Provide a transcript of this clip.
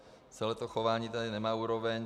Celé to chování tady nemá úroveň.